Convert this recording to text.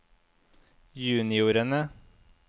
juniorene